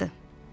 vaxtdır.